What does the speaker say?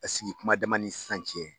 A sigi kuma dama ni sisan cɛ.